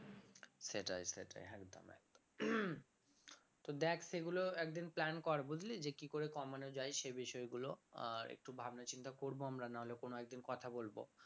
সেটাই সেটাই একদম একদম তো দেখ সেগুলো একদিন plan কর বুঝলি যে কি করে কমানো যাই সে বিষয় গুলো আর একটু ভাবনা চিন্তা করবো আমরা নাহলে কোনো একদিন কথা বলবো